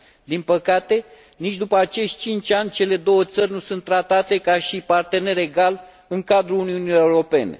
Din păcate, nici după acești 5 ani cele două țări nu sunt tratate ca și parteneri egali în cadrul Uniunii Europene.